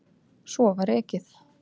Svo var ekið.